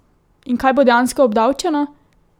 In kaj bo dejansko obdavčeno?